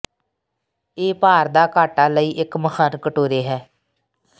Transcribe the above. ਇਹ ਭਾਰ ਦਾ ਘਾਟਾ ਲਈ ਇੱਕ ਮਹਾਨ ਕਟੋਰੇ ਹੈ